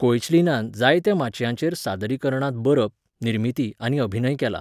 कोएचलीनान जायत्या माचयांचेर सादरीकरणांत बरप, निर्मिती आनी अभिनय केला.